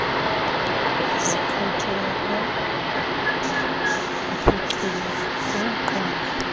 zikhokelo nophuculo kukuqondwa